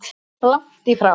Langt í frá!